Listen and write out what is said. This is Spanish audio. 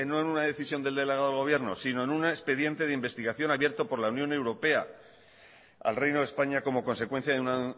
en una decisión del delegado del gobierno sino en un expediente de investigación abierto por la unión europea al reino de españa como consecuencia de una